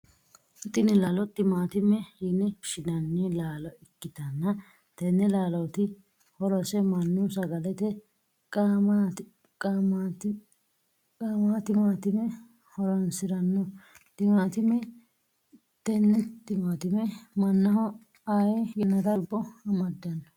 Tinni laallo timaatime yinne woshinnanni laallo ikitanna tenne laalloti horose mannu sagalete qaamatimate horoonsirano timaatimeeti tenne timaatime mannaho Ari yannara lubo amadano.